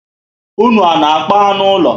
Ụnụ ana akpa anụ úlọ?